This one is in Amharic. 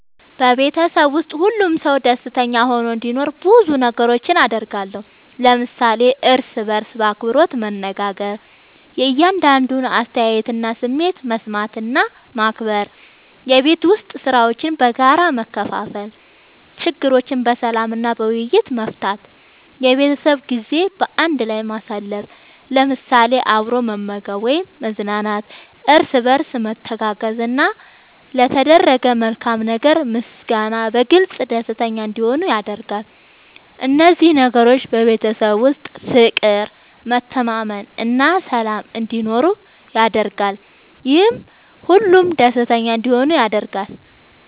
በቤተሰቤ ውስጥ ሁሉም ሰው ደስተኛ ሆኖ እንዲኖር ብዙ ነገሮችን አደርጋለሁ።። ለምሳሌ፦ እርስ በርስ በአክብሮት መነጋገር። የእያንዳንዱን አስተያየትና ስሜት መስማት እና ማክበር፣ የቤት ዉስጥ ሥራዎችን በጋራ መከፋፈል፣ ችግሮችን በሰላም እና በውይይት መፍታት፣ የቤተሰብ ጊዜ በአንድ ላይ ማሳለፍ ለምሳሌ፦ አብሮ መመገብ ወይም መዝናናት፣ እርስ በርስ መተጋገዝ፣ እና ለተደረገ መልካም ነገር ምስጋና በመግለጽ ደስተኛ እንዲሆኑ አደርጋለሁ። እነዚህ ነገሮች በቤተሰብ ውስጥ ፍቅር፣ መተማመን እና ሰላም እንዲኖር ያደርጋሉ፤ ይህም ሁሉም ደስተኛ እንዲሆኑ ያደርጋል።